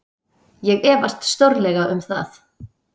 Ég efast stórlega um það.